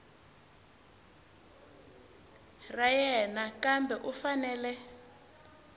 ra yena kambe u fanele